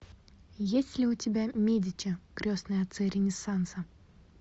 есть ли у тебя медичи крестные отцы ренессанса